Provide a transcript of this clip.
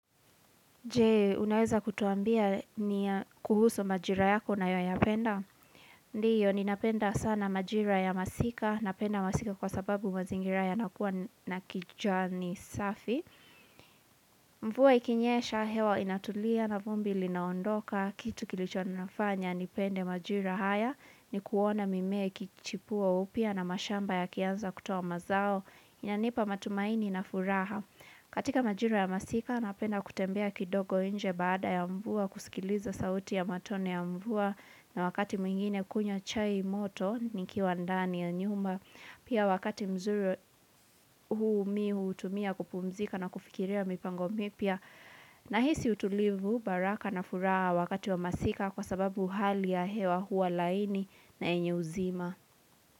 Jee, unaweza kutuambia nini kuhusu majira yako unayoyapenda? Ndio, ninapenda sana majira ya masika, napenda masika kwa sababu mazingira yanakuwa na kijani safi. Mvuwa ikinyesha, hewa inatulia na vumbi linaondoka, kitu kilichonifanya, nipende majira haya, ni kuona mimea ikichipua upya na mashamba yakianza kutuoa mazao, inanipa matumaini na furaha. Katika majra ya masika napenda kutembea kidogo nje baada ya mvua kusikiliza sauti ya matone ya mvua na wakati mwingine kunywa chai moto nikiwa ndani ya nyumba. Pia wakati mzuri huu mimi hutumia kupumzika na kufikiria mipango mipya na hisi utulivu baraka na furaha wakati wa masika kwa sababu hali ya hewa hua laini na yenye uzima.